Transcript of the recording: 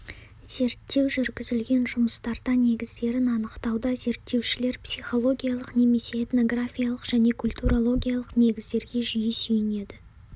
зерттеу жүргізілген жұмыстарда негіздерін анықтауда зерттеушілер психологиялық немесе этнографиялық және культурологиялық негіздерге жиі сүйенеді